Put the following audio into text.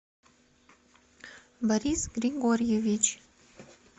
борис григорьевич